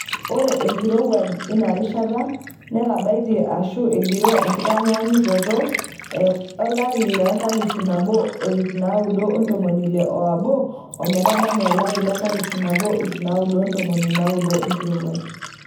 Ore enkirowuaj inarishata netabaitie aashu egiroo enkitatanyaanyukoto e 1961-1990 enkirowuaj.